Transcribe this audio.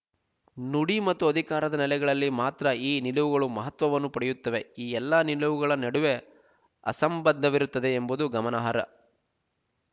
ನುಡಿ ಮತ್ತು ಅಧಿಕಾರದ ನೆಲೆಗಳಲ್ಲಿ ಮಾತ್ರ ಈ ನಿಲುವುಗಳು ಮಹತ್ವವನ್ನು ಪಡೆಯುತ್ತವೆ ಈ ಎಲ್ಲ ನಿಲುವುಗಳ ನಡುವೆ ಅಂತಸ್ಸಂಬಂಧವಿರುತ್ತದೆ ಎಂಬುದು ಗಮನಾರ್ಹ